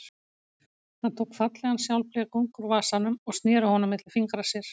Hann tók fallegan sjálfblekung úr vasanum og sneri honum milli fingra sér.